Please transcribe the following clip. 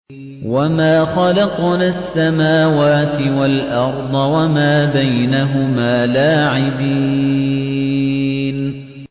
وَمَا خَلَقْنَا السَّمَاوَاتِ وَالْأَرْضَ وَمَا بَيْنَهُمَا لَاعِبِينَ